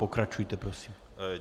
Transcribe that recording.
Pokračujte prosím.